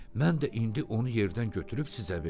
Mən də indi onu yerdən götürüb sizə verdim.